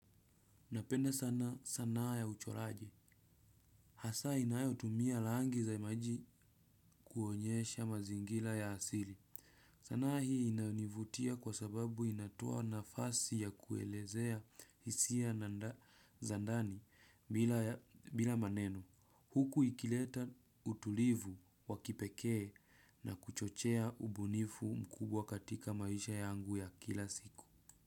Napenda sana sanaa ya uchoraji. Hasa inayo tumia rangi za maji kuonyesha mazingira ya asili. Sanaa hii inanivutia kwa sababu inatoa nafasi ya kuelezea hisia na zandani bila maneno. Huku ikileta utulivu wa kipekee na kuchochea ubunifu mkubwa katika maisha yangu ya kila siku.